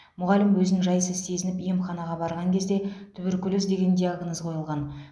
мұғалім өзін жайсыз сезініп емханаға барған кезде туберкулез деген диагноз қойылған